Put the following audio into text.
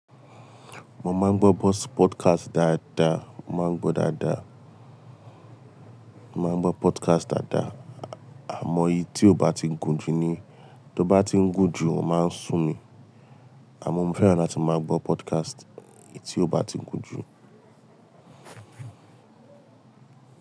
Mo máa ń gbọ́ bọ́ọ̀sì podcast dáadáa, màá ń gbọ́ dáadáa. Mo máa ń gbọ́ podcast dáadáa, àmọ́ èyí tí ó bá ti ń gùn jù ni. Tó bá ti ń gùn jù o máa ń sún mi, àmọ́ mo fẹ́ràn láti máa gbọ́ podcast èyí tí ó bá ti ń gùn jù.